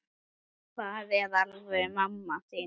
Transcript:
Hver er alvöru mamma þín?